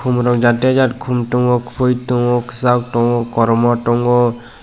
mowro jate jat kom tongo koi tongo kisak tongo kormo tongo.